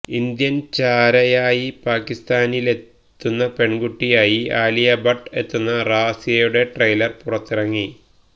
Indian ചാരയായി പാക്കിസ്ഥാനിലെത്തുന്ന പെണ്കുട്ടിയായി ആലിയ ഭട്ട് എത്തുന്ന റാസിയുട ട്രെയിലര് പുറത്തിറങ്ങി